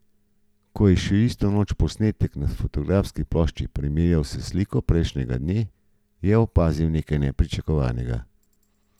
Ko je še isto noč posnetek na fotografski plošči primerjal s sliko prejšnjega dne, je opazil nekaj nepričakovanega.